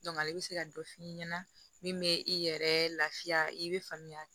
ale bɛ se ka dɔ f'i ɲɛna min bɛ i yɛrɛ lafiya i bɛ faamuya